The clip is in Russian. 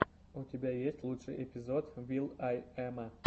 у тебя есть лучший эпизод вил ай эма